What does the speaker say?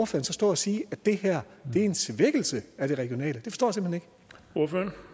så stå og sige at det her er en svækkelse af det regionale